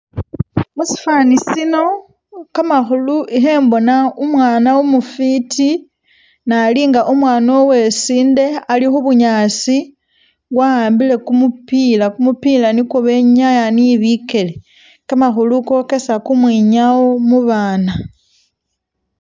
Musifani sino kamakhulu ikhembona umwana umufiti ne ali nga umwana uwesindi ali khu bunyaasi wa'ambile kumupila, kumupila nikwo benyaya ne bikele, kamakhulu kokesa kumwinyawo mu baana.